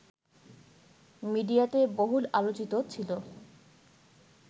মিডিয়াতে বহুল আলোচিত ছিল